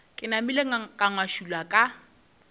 ke napile ka ngašula ka